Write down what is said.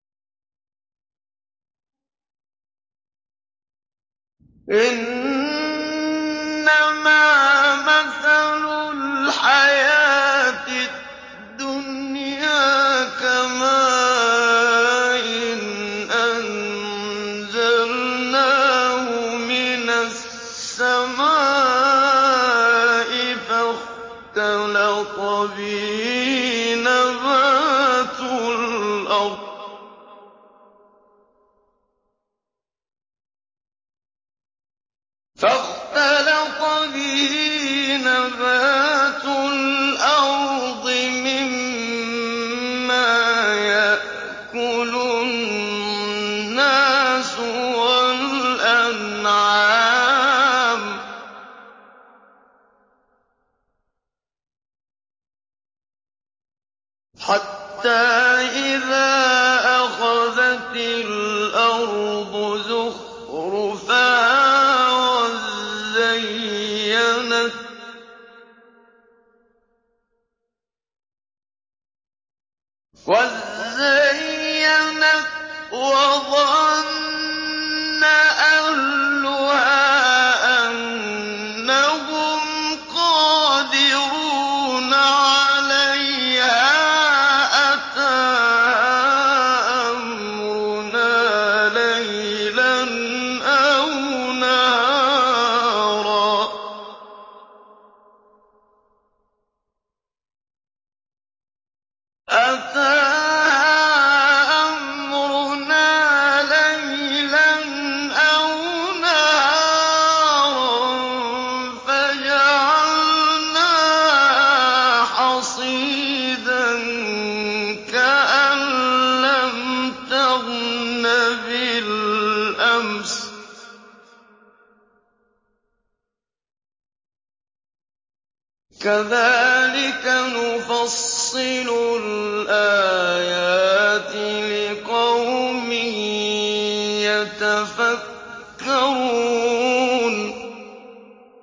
إِنَّمَا مَثَلُ الْحَيَاةِ الدُّنْيَا كَمَاءٍ أَنزَلْنَاهُ مِنَ السَّمَاءِ فَاخْتَلَطَ بِهِ نَبَاتُ الْأَرْضِ مِمَّا يَأْكُلُ النَّاسُ وَالْأَنْعَامُ حَتَّىٰ إِذَا أَخَذَتِ الْأَرْضُ زُخْرُفَهَا وَازَّيَّنَتْ وَظَنَّ أَهْلُهَا أَنَّهُمْ قَادِرُونَ عَلَيْهَا أَتَاهَا أَمْرُنَا لَيْلًا أَوْ نَهَارًا فَجَعَلْنَاهَا حَصِيدًا كَأَن لَّمْ تَغْنَ بِالْأَمْسِ ۚ كَذَٰلِكَ نُفَصِّلُ الْآيَاتِ لِقَوْمٍ يَتَفَكَّرُونَ